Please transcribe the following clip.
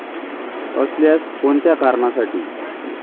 असल्यास कोणत्या कारणासाठी?